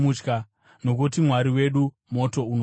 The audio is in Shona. nokuti “Mwari wedu moto unoparadza.”